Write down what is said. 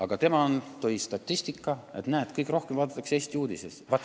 Aga tema tõi statistika, et näed, kõige rohkem vaadatakse PBK-st Eesti uudiseid.